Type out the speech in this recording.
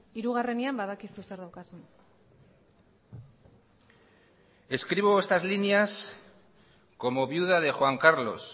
hirugarrenean badakizu zer daukazun escribo estas líneas como viuda de juan carlos